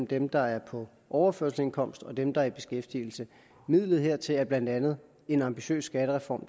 dem der er på overførselsindkomst og dem der er i beskæftigelse midlet hertil er blandt andet en ambitiøs skattereform